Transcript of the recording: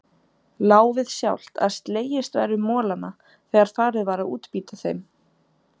Lá við sjálft að slegist væri um molana þegar farið var að útbýta þeim.